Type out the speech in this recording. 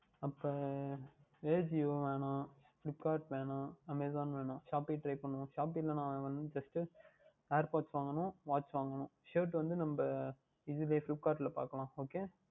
அப்பொழுது Ajio வேண்டாம் Flipkart வேண்டாம் Amazon வேண்டாம் Shopee யே Try பண்ணுவோம் Shopee யில் வந்து First Airpods வாங்கவேண்டும் Waatch வாங்கவேண்டும் Shirt வந்து நாம் இதில் Flipkart யில் பார்க்கலாம் Okay வா